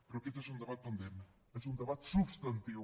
però aquest és un debat pendent és un debat substantiu